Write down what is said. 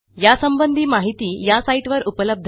यासंबंधी माहिती या साईटवर उपलब्ध आहे